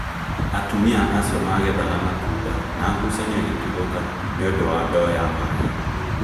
Atumia acio magethaga matunda na ngũcanio ĩgĩtuthũka nĩũndũ wa ndoo ya maĩ